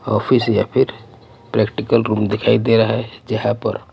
office या फिर practical room दिखाई दे रहा है जहां पर--